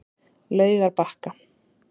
Laugarbakka